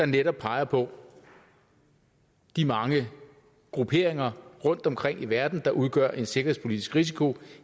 netop peger på de mange grupperinger rundtomkring i verden der udgør en sikkerhedspolitisk risiko